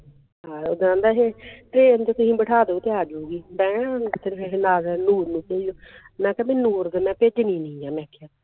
ਇਹ ਤਾਂ ਆਹਂਦਾ ਸੀ train ਤੇ ਤੁਸੀਂ ਬਿਠਾ ਦੀਓ ਤੇ ਆ ਜਾਊਗੀ ਮੈਂ ਕਿਹਾ ਬੀ ਨੂਰ ਦੇ ਮੈਂ ਕਿਹਾ